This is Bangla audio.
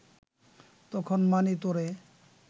তখন মানি তোরে